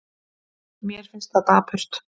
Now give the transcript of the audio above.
Mér finnst það dapurt.